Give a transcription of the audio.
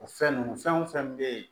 O fɛn nunnu fɛn o fɛn be yen